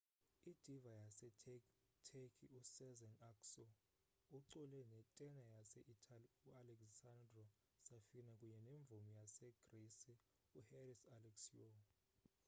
i-diva yaseturkey usezen aksu ucule ne tena yase itali u-alessandro safina kunye nemvumi yasegrisi u-haris alexiou